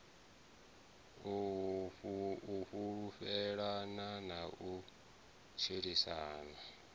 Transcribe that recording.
u fhulufhelana na u tshilisana